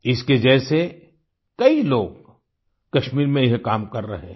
इसके जैसे कई लोग कश्मीर में यह काम कर रहे है